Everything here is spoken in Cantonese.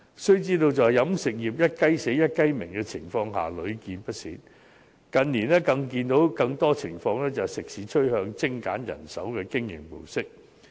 須知道飲食業"一雞死、一雞鳴"的情況屢見不鮮，而近年所見的更多情況是食肆趨向精簡人手的經營模式。